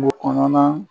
Kungo kɔnɔna